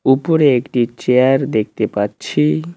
উপরে একটি চেয়ার দেখতে পাচ্ছি।